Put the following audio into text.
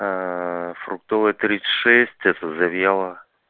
фруктовая тридцать шесть это завьялова